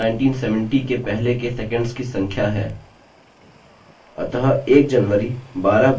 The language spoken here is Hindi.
अतः 1 जनवरी 12 बजे साल 1970